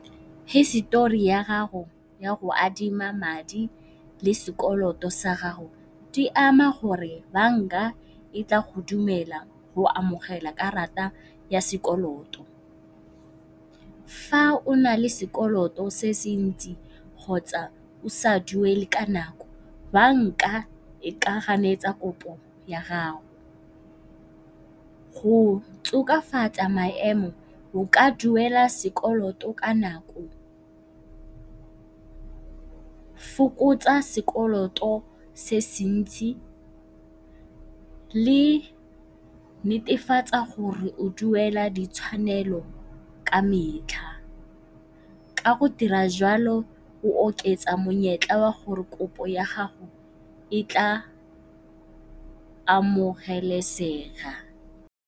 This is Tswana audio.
Hisetori ya gago ya go adima madi le sekoloto sa gago di ama gore banka e tla go dumela go amogela karata ya sekoloto. Fa o nale sekoloto se se ntsi kgotsa o sa duele ka nako banka e ka ganetsa kopo ya gago. Go tokafatsa maemo o ka duela sekoloto ka nako, fokotsa sekoloto se se ntsi, netefatsa gore o duela ditshwanelo ka metlha. Ka go dira jalo o oketsa monyetla wa gore kopo ya gago e tla amogelesega.